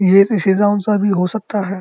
ये सा भी हो सकता है।